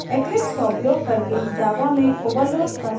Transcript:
eclipse का उपयोग करके java में overload constructor कैसे बनाएँ